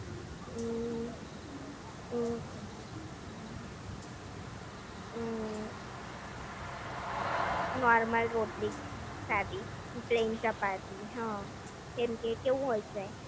હમ્મ હમ્મ હમ્મ નોર્મલ રોટલી જ સાદી પ્લેન ચપાતી હા કેમ કે કેવું હોય છે